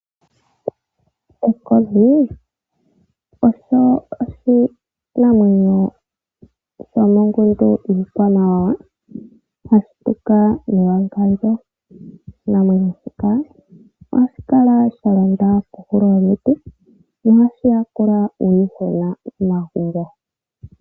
Ekodhi olyo oshinamwenyo shomongundu yiikwamawawa hashi tuka mewangandjo. Oshinamwenyo shika ohashi kala sha londa kohulo yomiti noha shi yakula uuyuhwena momagumbo.